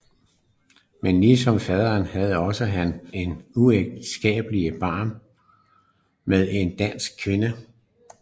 Men ligesom faderen havde også han et uægteskabeligt barn med en dansk kvinde